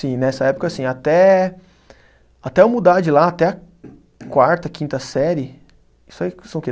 Sim, nessa época, assim, até até eu mudar de lá, até a quarta, quinta série, isso aí são o quê?